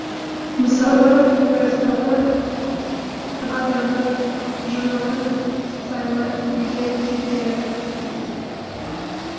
мысалы куэсталы адырлы жыралы сайлы бедер типтері